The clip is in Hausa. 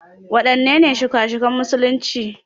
Waɗannene shika-shikan musulunci?